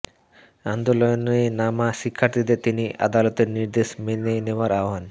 আন্দোলনে নামা শিক্ষার্থীদের তিনি আদালতের নির্দেশ মেনে নেওয়ার আহ্বান